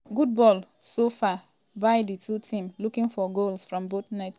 good ball so far bu=y di two teams looking for goals from both net.